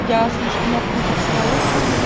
я слишком открытый человек